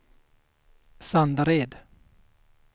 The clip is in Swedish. Sandared